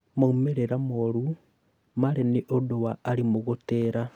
Maumĩrĩra moru marĩ nĩũndũ wa arimũ gũtĩra